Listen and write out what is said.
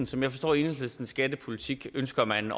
som jeg forstår enhedslistens skattepolitik ønsker man